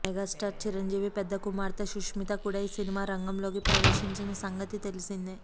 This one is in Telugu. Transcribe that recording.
మెగా స్టార్ చిరంజీవి పెద్ద కుమార్తె సుష్మిత కూడా సినిమా రంగలోకి ప్రవేశించిన సంగతి తెలిసిందే